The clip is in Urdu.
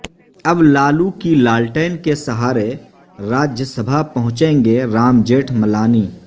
اب لالو کی لالٹین کے سہارے راجیہ سبھا پہنچیں گے رام جیٹھ ملانی